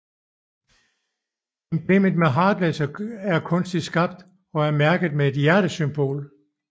Emblem Heartless er kunstigt skabt og er mærket med et hjertesymbol